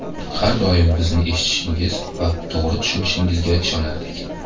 Har doim bizni eshitishingiz va to‘g‘ri tushunishingizga ishonardik.